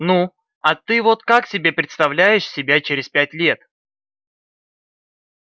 ну а ты вот как себе представляешь себя через пять лет